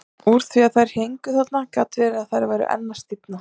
Úr því að þær héngu þarna gat verið að þær væru enn að stífna.